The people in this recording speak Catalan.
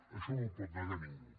això no ho pot negar ningú